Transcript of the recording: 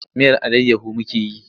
Miyar allayyahu muke yi.